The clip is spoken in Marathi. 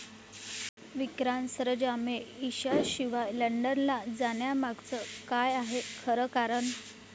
विक्रांत सरंजामे ईशाशिवाय लंडनला जाण्यामागचं काय आहे खरं कारण?